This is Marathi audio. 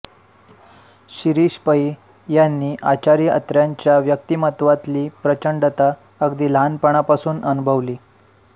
शिरीष पै यांनी आचार्य अत्र्यांच्या व्यक्तिमत्त्वातली प्रचंडता अगदी लहानपणापासून अनुभवली